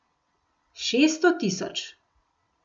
Šeststo tisoč.